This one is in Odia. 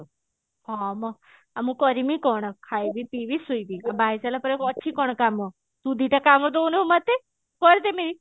ହଁ ମ ମୁଁ ଆଉ କରିମି କଣ ଖାଇବି ପିଇବି ଶୋଇବି ବାହା ହେଇ ସାରିଲା ପରେ ଅଛି କଣ କାମ ତୁ ଦିଇଟା କାମ ଦଉନୁ ମତେ କରିଦେମି